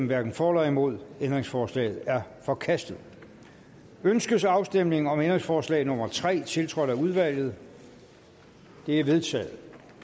hverken for eller imod stemte ændringsforslaget er forkastet ønskes afstemning om ændringsforslag nummer tre tiltrådt af udvalget det er vedtaget